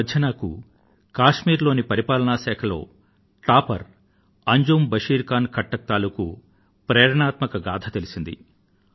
ఈమధ్య నాకు Kashmir administrative service examination లో అగ్రగామిగా నిలచిన శ్రీ అంజుమ్ బశీర్ ఖాన్ ఖట్టక్ తాలూకూ ప్రేరణాత్మక గాథ తెలిసింది